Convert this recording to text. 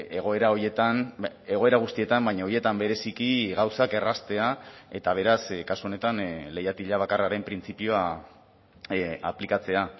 egoera horietan egoera guztietan baina horietan bereziki gauzak erraztea eta beraz kasu honetan leihatila bakarraren printzipioa aplikatzea